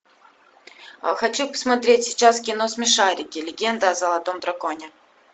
хочу посмотреть сейчас кино смешарики легенда о золотом драконе